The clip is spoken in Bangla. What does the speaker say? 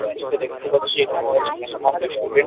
এখানে যেটা দেখতে পাচ্ছি এখানে আছে মেহেমান রেস্টুরেন্ট ।